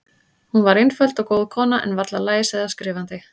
Hún var einföld og góð kona, en varla læs eða skrifandi.